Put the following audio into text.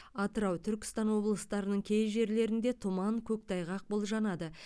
атырау түркістан облыстарының кей жерлерінде тұман көктайғақ болжанады